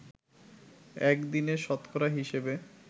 একদিনে শতকরা হিসেবে